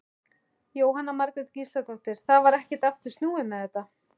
Jóhanna Margrét Gísladóttir: Það var ekkert aftur snúið með þetta?